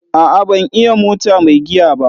A'a ban iya mota mai giya ba.